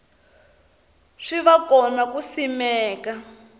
swi va kona ku simeka